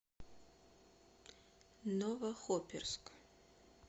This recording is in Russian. новохоперск